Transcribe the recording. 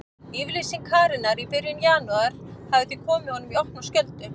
Yfirlýsing Karenar í byrjun janúar hafði því komið honum í opna skjöldu.